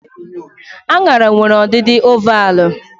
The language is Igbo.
Aṅara nwere ọdịdị ovalvụ